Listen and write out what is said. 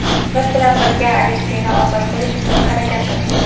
biz bilan birga Alekseyni ozod qilish uchun harakat qiling.